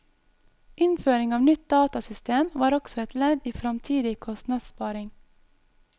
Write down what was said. Innføring av nytt datasystem var også et ledd i framtidig kostnadssparing.